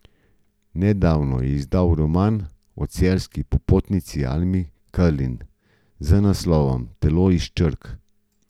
Nedavno je izdal roman o celjski popotnici Almi Karlin z naslovom Telo iz črk.